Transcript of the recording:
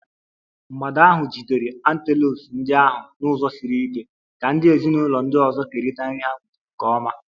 mgbada ahụ jidere antelopes ndị ahụ n'ụzọ siri ike, ka ndị ezinụlọ ndị ọzọ kerịta nri ha nwetara nke ọma.